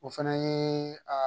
O fana ye aa